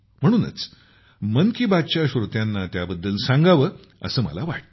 म्हणूनच मन की बातच्या श्रोत्यांना त्याबद्दल सांगावं असं मला वाटलं